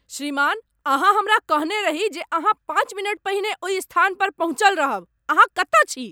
श्रीमान, अहाँ हमरा कहने रही जे अहाँ पाँच मिनट पहिने ओहि स्थान पर पहुँचल रहब। अहाँ कतय छी?